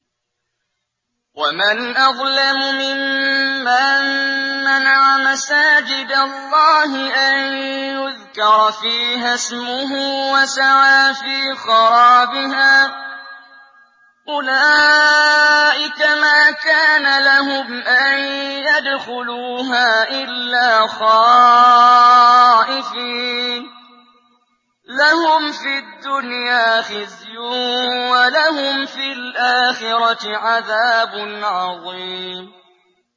وَمَنْ أَظْلَمُ مِمَّن مَّنَعَ مَسَاجِدَ اللَّهِ أَن يُذْكَرَ فِيهَا اسْمُهُ وَسَعَىٰ فِي خَرَابِهَا ۚ أُولَٰئِكَ مَا كَانَ لَهُمْ أَن يَدْخُلُوهَا إِلَّا خَائِفِينَ ۚ لَهُمْ فِي الدُّنْيَا خِزْيٌ وَلَهُمْ فِي الْآخِرَةِ عَذَابٌ عَظِيمٌ